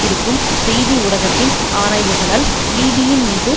இருக்கும் செய்தி ஊடகத்தின் ஆராய்வுகளால் லீபியின் மீது